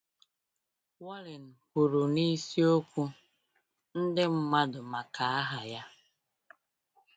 Wallen kwuru n’isiokwu “Ndị Mmadụ Maka Aha Ya.”